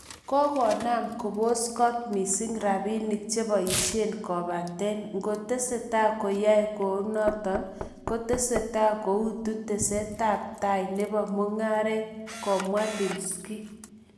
��Kogonam kopos kot missing rapinik chepoisien kopaten ngotesetai koyae kounon koteseteai kouitu tetastaetap taa nepo mung�aret.��Komwae Leshinsky